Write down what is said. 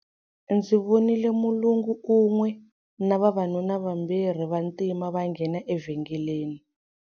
Ndzi vonile mulungu un'we na vavanuna vambirhi va Vantima va nghena evhengeleni.